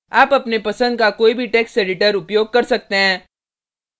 आप अपने पसंद का कोई भी टेक्स्ट एडिटर उपयोग कर सकते हैं